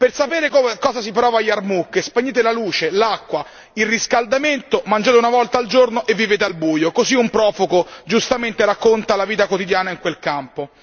Per sapere cosa si prova a Yarmouk spegnete la luce, l'acqua, il riscaldamento, mangiate una volta al giorno e vivete al buio, così un profugo giustamente racconta la vita quotidiana in quel campo.